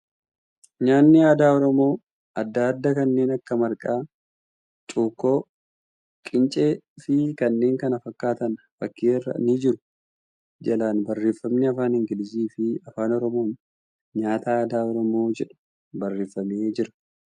Nyaanni aadaa Oromoo adda adda kanneen akka marqaa, cukkoo, qincee fi kaneen kana fakkaatan fakkii irra ni jiru. Jalaan barreeffamni afaan Ingiliiziin fi Afaan Oromoon ' Nyaata Aadaa Oromoo ' jedhu barreeffamee jira.